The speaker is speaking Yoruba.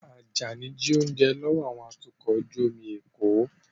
Ajani jí oúnjẹ lọ́wọ́ àwọn atukọ̀ ojú omi l'Eko